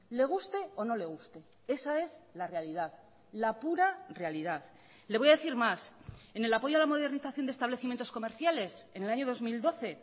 le guste o no le guste esa es la realidad la pura realidad le voy a decir más en el apoyo a la modernización de establecimientos comerciales en el año dos mil doce